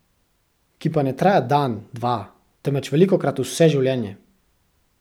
Ki pa ne traja dan, dva, temveč velikokrat vse življenje.